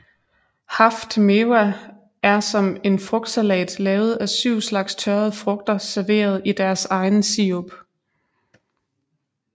Haft Mewa er som en frugtsalat lavet af syv slags tørrede frugter serveret i deres egen sirup